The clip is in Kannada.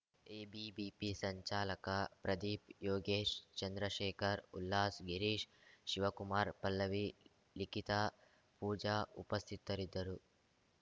ಎಬಿಬಿಪಿ ಸಂಚಾಲಕ ಪ್ರದೀಪ್‌ ಯೋಗೇಶ್‌ ಚಂದ್ರಶೇಖರ್‌ ಉಲ್ಲಾಸ್‌ ಗಿರೀಶ್‌ ಶಿವಕುಮಾರ್‌ ಪಲ್ಲವಿ ಲಿಖಿತ ಪೂಜಾ ಉಪಸ್ಥಿತರಿದ್ದರು